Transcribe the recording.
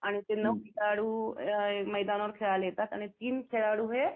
आणि ते नऊ खेळाडू मैदानावरती खेळायला येतात आणि तीन खेळाडू हे